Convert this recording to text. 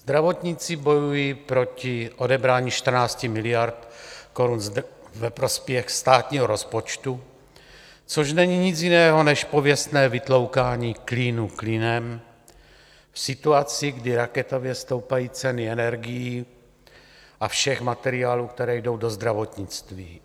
Zdravotníci bojují proti odebrání 14 miliard korun ve prospěch státního rozpočtu, což není nic jiného než pověstné vytloukání klínu klínem v situaci, kdy raketově stoupají ceny energií a všech materiálů, které jdou do zdravotnictví.